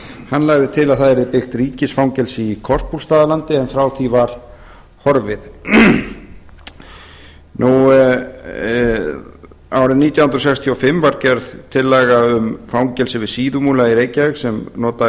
hann lagði til að byggt yrði ríkisfangelsi í korpúlfsstaðalandi en frá því var horfið árið nítján hundruð sextíu og fimm var gerð tillaga um fangelsi við síðumúla í reykjavík sem nota